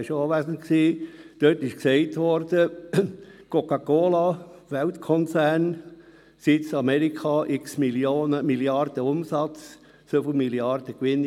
Dort wurde wortwörtlich gesagt: «Coca-Cola», Weltkonzern, Sitz Amerika, x Milliarden Umsatz, so viele Milliarden Gewinn;